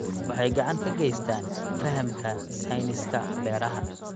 Waxay gacan ka geystaan ??xoojinta fahamka sayniska beeraha.